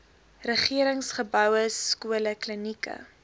regeringsgeboue skole klinieke